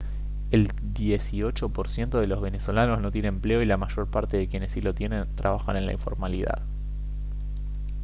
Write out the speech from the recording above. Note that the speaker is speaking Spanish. el dieciocho por ciento de los venezolanos no tiene empleo y la mayor parte de quienes sí lo tienen trabajan en la informalidad